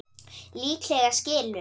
Líklega skilur